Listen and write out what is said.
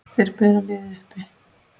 Þeir bera liðið uppi.